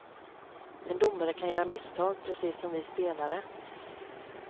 En domare kan göra misstag, precis som vi spelare.